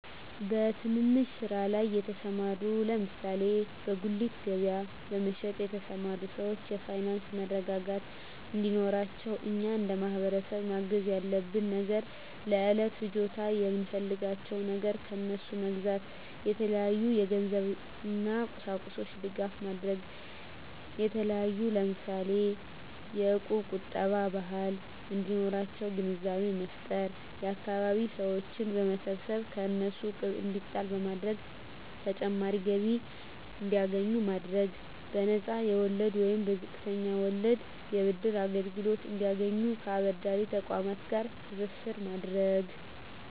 በትንንሽ ስራ ላይ የተሰማሩ ለምሳሌ በጉሊት ገበያ በመሸጥ የተሰማሩ ሰወች የፋይናንስ መረጋጋት እንዴኖራቸው እኛ እንደማህበረሰብ ማገዝ ያለብን ነገር ለእለት ፍጆታ የምንፈልጋቸውን ነገር ከነሡ መግዛታ የተለያዩ የገንዘብ እና ቁሳቁሶች ድጋፍ ማድረግ የተለያዩ ለምሳሌ የእቁብ ቁጠባ ባህል እንዲኖራቸው ግንዛቤ መፍጠር የአካባቢ ሰወችን በመሰብሰብ ከእነሱ እቁብ እንዲጣል በማድረግ ተጨማሪ ገቢ እንዲያገኙ ማድረግ በነፃ የወለድ ወይንም በዝቅተኛ ወለድ የብድር አገልግሎት እንዲያገኙ ከአበዳሪ ተቆማት ጋር ትስስር ማድረግ